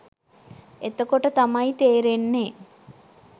එතකොට තමයි තේරෙන්නේ